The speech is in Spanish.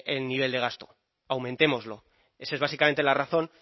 el nivel de gasto aumentémoslo esa es básicamente la razón